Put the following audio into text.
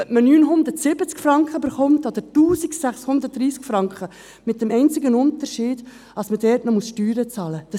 Ob man nun 970 Franken oder 1630 Franken erhält, macht einzig den Unterschied, dass man dort noch Steuern bezahlen muss.